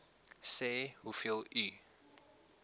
sê hoeveel u